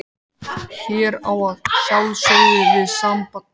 Hér á ég að sjálfsögðu við samband okkar.